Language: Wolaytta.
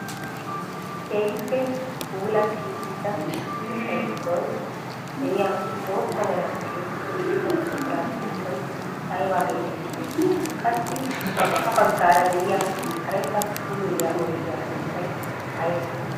Keehippe puulatti uttida keettaa giddon de'iyaa bootta meran tiyetti uttida buquraa sunttay aybaa getettii? Qassi ha baggaara de'iyaa karetta buluilyaa oydiyaa sunttay aybee?